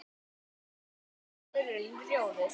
undir hverfur runni, rjóður